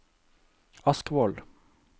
Askvoll